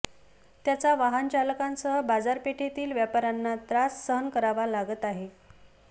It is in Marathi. त्याचा वाहन चालकांसह बाजारपेठेतील व्यापाऱ्यांना त्रास सहन करावा लागत आहे